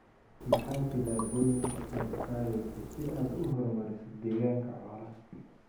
Maxaa tillaabooyinka aad qaadaysaa si aad u horumariso deegaanka xoolaha?